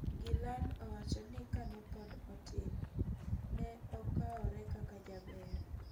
Gillean owacho ni kane pod otin ne okkaore kaka jaber.